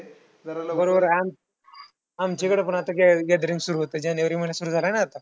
बरोबर आम आमच्याकडे पण gathering सुरु होतंय. जानेवारी महिना सुरु झाला ना आता!